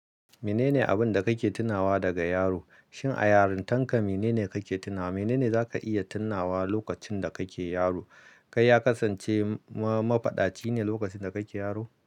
Menene abin da kake tunawa daga yaro? Shin a yarintanka menene kake tunawa? Menene za ka iya tunawa lokacin da kake yaro? Kai ya kasance ma-mafaɗaci ne lokacin da kake yaro?